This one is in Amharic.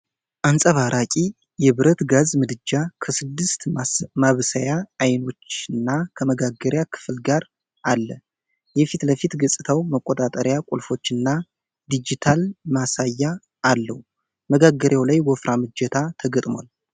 አንጸባራቂ የብረት ጋዝ ምድጃ ከስድስት ማብሰያ አይኖችና ከመጋገሪያ ክፍል ጋር አለ። የፊት ለፊት ገጽታው መቆጣጠሪያ ቁልፎችና ዲጂታል ማሳያ አለው። መጋገሪያው ላይ ወፍራም እጀታ ተገጥሟል።